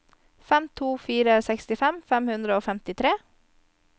fem to to fire sekstifem fem hundre og femtitre